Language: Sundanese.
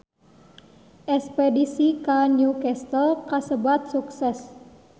Espedisi ka New Castle kasebat sukses